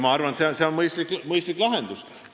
Ma arvan, et see on mõistlik lahendus.